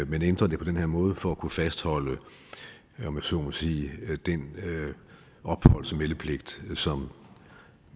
man ændrer det på den her måde for at kunne fastholde om jeg så må sige den opholds og meldepligt som